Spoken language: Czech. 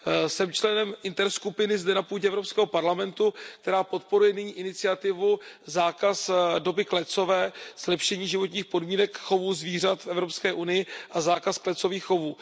Jsem členem interskupiny zde, na půdě Evropského parlamentu, která podporuje nyní iniciativu Zákaz doby klecové ke zlepšení životních podmínek chovu zvířat v EU a zákaz klecových chovů.